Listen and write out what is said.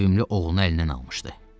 Sevimli oğlunu əlindən almışdı.